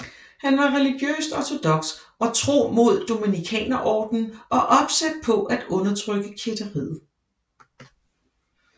Han var religiøst ortodoks og tro mod Dominikanerordenen og opsat på at undertrykke kætteriet